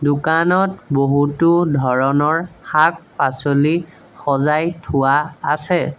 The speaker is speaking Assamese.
দোকানত বহুতো ধৰণৰ শাক-পাচলি সজাই থোৱা আছে।